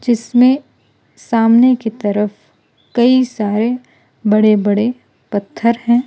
इसमें सामने की तरफ कई सारे बड़े बड़े पत्थर हैं।